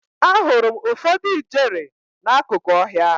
Ahụrụ m ụfọdụ ijere n'akụkụ ọhịa.